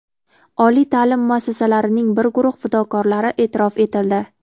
Oliy taʼlim muassasalarining bir guruh fidokorlari eʼtirof etildi.